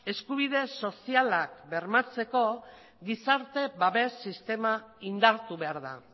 eskubide sozialak bermatzeko gizarte babes sistema indartu behar da